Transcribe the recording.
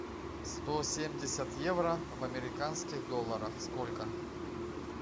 сто семьдесят евро в американских долларах сколько